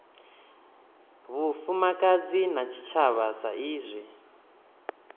vhufumakadzi na tshitshavha sa izwi